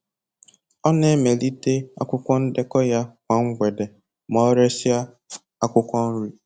Ọ na-emelite akwụkwọ ndekọ ya kwa mgbede ma o resịa akwụkwọ nri.